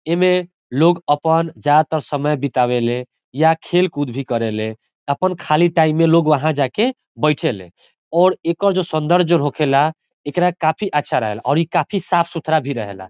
एमें लोग अपन ज्यादातर समय बितावे ले या खेल-कूद भी करेले अपन खाली टाइम में लोग वहाँ जाके बइठे ले और एकर जो सौंदर्य जो होखेला एकरा काफी अच्छा रहेला और ई काफी साफ़-सुथरा भी रहेला।